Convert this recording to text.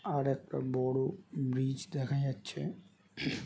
আর একটা বড়ো ব্রিজ দেখা যাচ্ছে।